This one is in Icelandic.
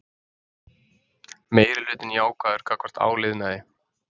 Meirihlutinn jákvæður gagnvart áliðnaði